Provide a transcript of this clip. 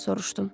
Soruşdum.